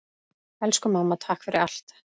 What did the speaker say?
Elsku mamma, takk fyrir allt.